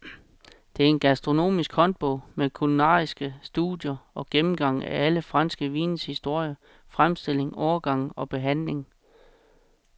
Det er en gastronomisk håndbog med kulinariske studier og gennemgang af alle franske vines historie, fremstilling, årgange og behandling.